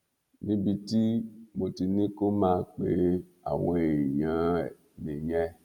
níbi tí mo ti ní kó máa pe àwọn èèyàn ẹ nìyẹn